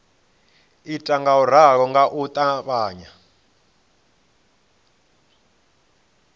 ita ngauralo nga u ṱavhanya